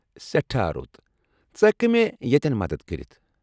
سیٹھاہ رُت ! ژٕ ہٮ۪ککھٕہ مےٚ ییٚتٮ۪ن مدتھ کٔرِتھ؟